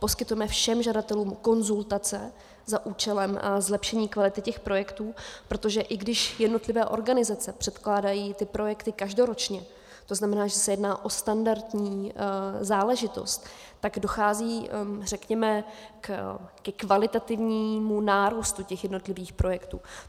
Poskytujeme všem žadatelům konzultace za účelem zlepšení kvality těch projektů, protože i když jednotlivé organizace předkládají ty projekty každoročně, to znamená, že se jedná o standardní záležitost, tak dochází řekněme ke kvalitativnímu nárůstu těch jednotlivých projektů.